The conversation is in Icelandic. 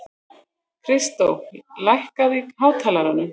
Kristó, lækkaðu í hátalaranum.